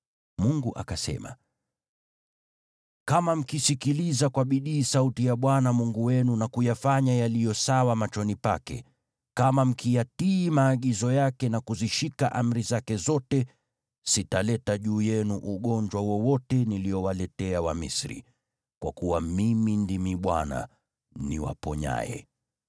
Mungu akasema, “Kama mkisikiliza kwa bidii sauti ya Bwana Mungu wenu na kuyafanya yaliyo sawa machoni pake, kama mkiyatii maagizo yake na kuzishika amri zake zote, sitaleta juu yenu ugonjwa wowote niliowaletea Wamisri, kwa kuwa Mimi ndimi Bwana , niwaponyaye.”